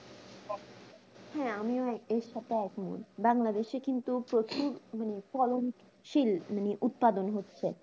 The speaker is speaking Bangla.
হ্যাঁ আমিও এর সাথে একমত বাংলাদেশ কিন্তু প্রচুর ফলনশীল মানে উৎপাদন হচ্ছে